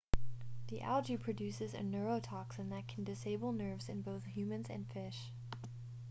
the algae produces a neurotoxin that can disable nerves in both humans and fish